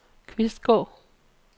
Kvistgård